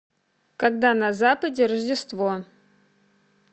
когда на западе рождество